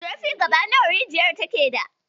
Zurfin gaba nawa rijiyar take da.